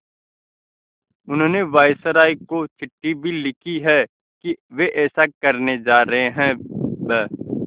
उन्होंने वायसरॉय को चिट्ठी भी लिखी है कि वे ऐसा करने जा रहे हैं ब्